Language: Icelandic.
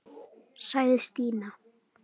sagði Stína.